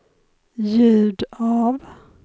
ljud av